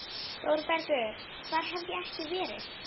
ÞÓRBERGUR: Hvar hef ég ekki verið!